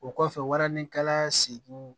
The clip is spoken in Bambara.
O kɔfɛ waranin kalan seginw